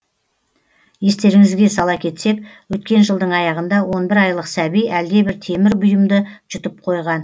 естеріңізге сала кетсек өткен жылдың аяғында он бір айлық сәби әлдебір темір бұйымды жұтып қойған